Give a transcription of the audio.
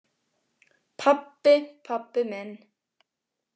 Pabbi, pabbi minn!